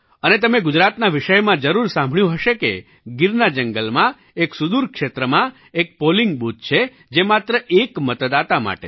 અને તમે ગુજરાતના વિષયમાં જરૂર સાંભળ્યું હશે કે ગીરના જંગલમાં એક સુદૂર ક્ષેત્રમાં એક પૉલિંગ બૂથ છે જે માત્ર એક મતદાતા માટે છે